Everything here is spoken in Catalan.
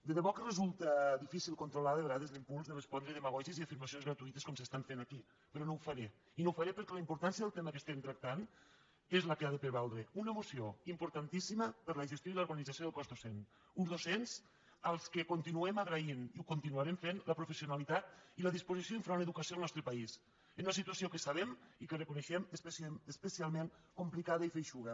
de debò que resulta difícil controlar de vegades l’im·puls de respondre a demagògies i afirmacions gratuï·tes com s’estan fent aquí però no ho faré i no ho faré perquè la importància del tema que estem tractant és la que ha de prevaldre una moció importantíssima per a la gestió i l’organització del cos docent uns docents als quals continuem agraint i ho continuarem fent la professionalitat i la disposició enfront l’educació al nostre país en una situació que sabem i que reconei·xem especialment complicada i feixuga